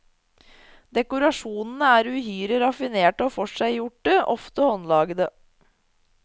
Dekorasjonene er uhyre raffinerte og forseggjorte, ofte håndlagede.